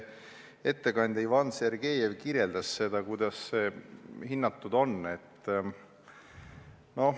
Ettekandja Ivan Sergejev kirjeldas, kuidas seda hinnatud on.